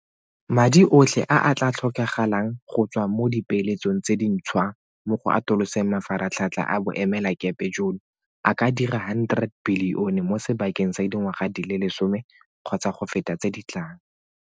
Madi otlhe a a tla tlhokagalang go tswa mo dipeeletsong tse dintšhwa mo go atoloseng mafaratlhatlha a boemelakepe jono a ka dira R100 bilione mo sebakeng sa dingwaga di le lesome kgotsa go feta tse di tlang.